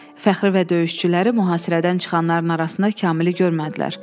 Fəxri və döyüşçüləri mühasirədən çıxanların arasında Kamili görmədilər.